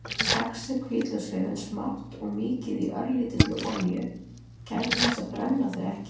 Saxið hvítlauksrifin smátt og mýkið í örlítilli olíu- gætið þess að brenna þau ekki.